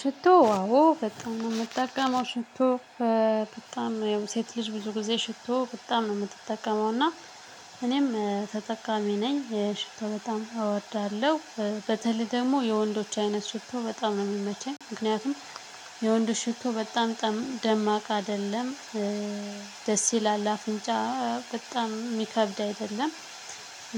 ሽቶ አዎ በጣም ነው የምጠቀመው ሽቶ። በጣም ያው ሴት ልጅ ብዙ ጊዜ ሽቶ በጣም ነው የምትጠቀመው። እና እኔም ተጠቃሚ ነኝ ሽቶ በጣም እወዳለሁ። በተለይ ደግሞ የወንዶች አይነት ሽቶ በጣም ነው የሚመቸኝ። ምክንያቱም የወንዶች ሽቶ በጣም ደማቅ አይደለም። ደስ ይላል ለአፍንጫ በጣም የሚከብድ አይደለም።